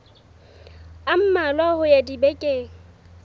a mmalwa ho ya dibekeng